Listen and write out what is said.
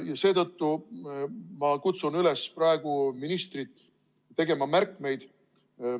Ja seetõttu ma kutsun praegu ministrit üles tegema märkmeid.